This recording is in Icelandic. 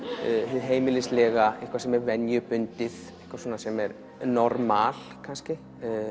hið heimilislega eitthvað sem er venjubundið eitthvað sem er normal kannski